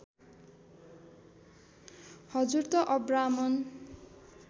हजुर त अब्राह्मण